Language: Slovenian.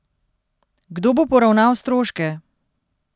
Kdo bo poravnal stroške?